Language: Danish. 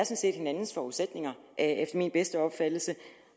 set hinandens forudsætninger efter min bedste opfattelse